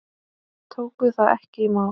Tóku það ekki í mál.